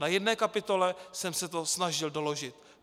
Na jedné kapitole jsem se to snažil doložit.